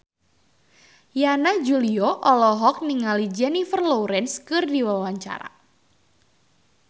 Yana Julio olohok ningali Jennifer Lawrence keur diwawancara